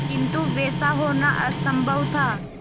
किंतु वैसा होना असंभव था